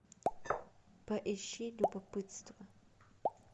поищи любопытство